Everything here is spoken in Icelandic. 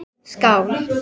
Skál!